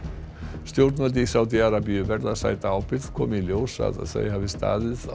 stjórnvöld í Sádí Arabíu verða að sæta ábyrgð komi í ljós að þau hafi staðið